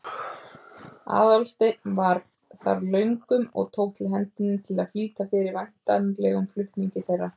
Aðalsteinn var þar löngum og tók til hendi til að flýta fyrir væntanlegum flutningi þeirra.